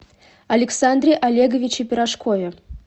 александре олеговиче пирожкове